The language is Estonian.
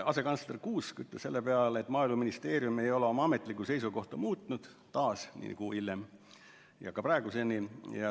Asekantsler Kuusk ütles selle peale, et Maaeluministeerium ei ole oma ametlikku seisukohta muutnud, taas, nii nagu oli enne, on ka praeguseni.